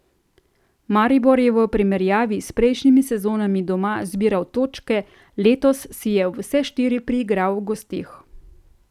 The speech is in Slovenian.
Maribor je v primerjavi s prejšnjimi sezonami doma zbiral točke, letos si je vse štiri priigral v gosteh.